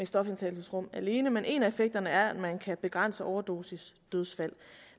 stofindtagelsesrum alene men en af effekterne er at man kan begrænse overdosisdødsfald